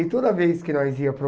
E toda vez que nós ia para o...